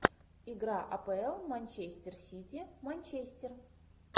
игра апл манчестер сити манчестер